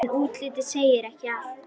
En útlitið segir ekki allt.